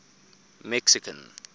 mexican